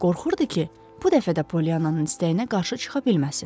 Qorxurdu ki, bu dəfə də Poliyananın istəyinə qarşı çıxa bilməsin.